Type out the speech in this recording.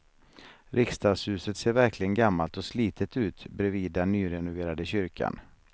Riksdagshuset ser verkligen gammalt och slitet ut bredvid den nyrenoverade kyrkan.